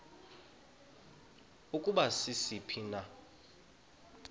ukuba sisiphi na